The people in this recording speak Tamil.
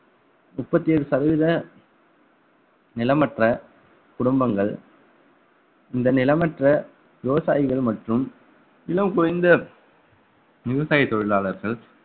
முப்பத்தி ஏழு சதவீத நிலமற்ற குடும்பங்கள் இந்த நிலமற்ற விவசாயிகள் மற்றும் இன்னும் குறைந்த விவசாய தொழிலாளர்கள்